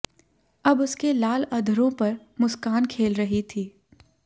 अब उसके लाल अधरों पर मुस्कान खेल रही थी